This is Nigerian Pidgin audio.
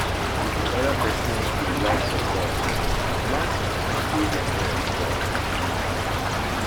if di oda person dey like surprise, plan something wey dem no expect